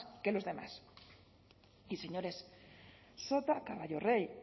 que los demás y señores sota caballo rey